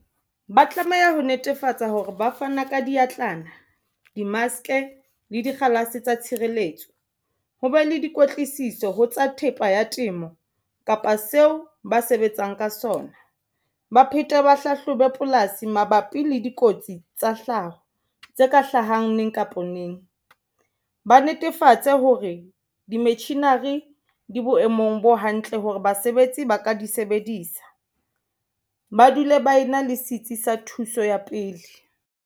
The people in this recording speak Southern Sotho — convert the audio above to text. Ba tlameha ho netefatsa hore ba fana ka diatlana di-mask le dikgalase tsa tshireletso ho be le dikwetliso ho tsa thepa ya temo kapa seo ba sebetsang ka sona ba phete ba hlahlobe polasi mabapi le dikotsi tsa hlaho tse ka hlahang neng kapa neng ba netefatse hore di-machinery di boemong bo hantle Hore basebetsi ba ka di sebedisa ba dule ba ena le sitsi sa thuso ya pele.